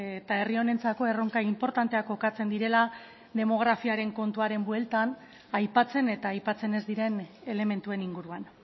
eta herri honentzako erronka inportanteak kokatzen direla demografiaren kontuaren bueltan aipatzen eta aipatzen ez diren elementuen inguruan